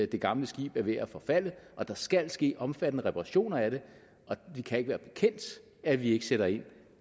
det gamle skib er ved at forfalde og der skal ske omfattende reparationer af det og vi kan ikke være bekendt at vi ikke sætter ind